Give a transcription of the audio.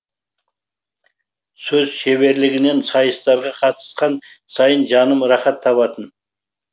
сөз шеберлігінен сайыстарға қатысқан сайын жаным рахат табатын